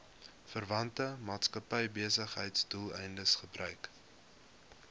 verwante maatskappybesigheidsdoeleindes gebruik